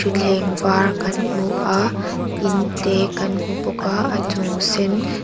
thleng var kan hmu a in te kan hmu bawk a a chung sen--